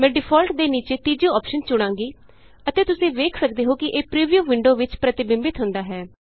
ਮੈਂ ਡਿਫਾਲਟ ਦੇ ਨੀਚੇ ਤੀਜੀ ਅੋਪਸ਼ਨ ਚੁਣਾਂਗੀ ਅਤੇ ਤੁਸੀਂ ਵੇਖ ਸਕਦੇ ਹੋ ਕਿ ਇਹ ਪਰਿਵਿਊ ਵਿੰਡੋ ਵਿਚ ਪਰਿਤਿਬਿੰਬਤ ਹੁੰਦਾ ਹੈ